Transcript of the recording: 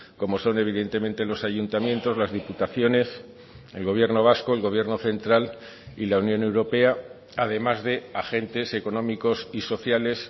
como son evidentemente los ayuntamientos las diputaciones el gobierno vasco el gobierno central y la unión europea además de agentes económicos y sociales